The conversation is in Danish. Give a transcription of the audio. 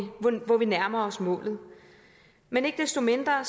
hvor vi nærmer os målet men ikke desto mindre